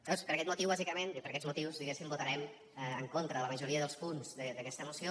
llavors per aquest motiu bàsicament i per aquests motius diguéssim votarem en contra de la majoria dels punts d’aquesta moció